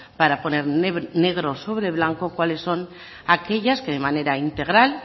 para poner negro sobre blanco cuáles son aquellas que de manera integral